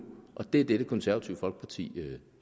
det er det det konservative folkeparti